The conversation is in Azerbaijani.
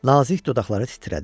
Nazik dodaqları titrədi.